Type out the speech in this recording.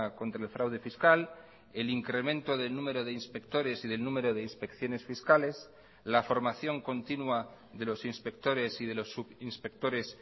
contra el fraude fiscal el incremento del número de inspectores y del número de inspecciones fiscales la formación continúa de los inspectores y de los subinspectores